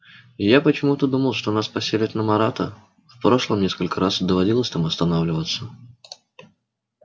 я почему-то думал что нас поселят на марата в прошлом несколько раз доводилось там останавливаться